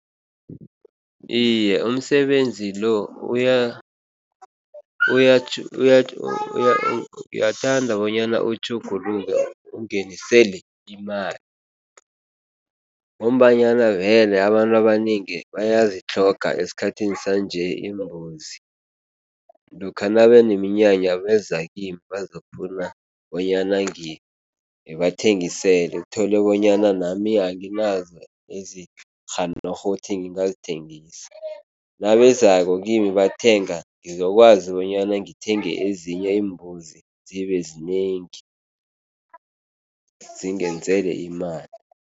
Iye, umsebenzi lo uyathanda bonyana utjhuguluke ungenisele imali ngombanyana vele abantu abanengi bayazitlhoga esikhathini sanje iimbuzi. Lokha nabeneminyanya beza kimi bazokufuna bonyana ngibathengisele, uthole bonyana nami anginazo ezirhanorho ukuthi ngingazithengisa. Nabezako kimi bathenga, ngizokwazi bonyana ngithenge ezinye iimbuzi zibezinengi zingenzele imali.